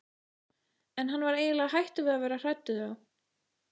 En hann var eiginlega hættur að vera hræddur við þá.